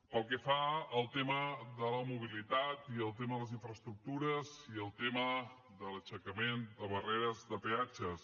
pel que fa al tema de la mobilitat i al tema de les infraestructures i al tema de l’aixecament de barreres de peatges